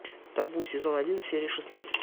табу сезон один серия шестнадцать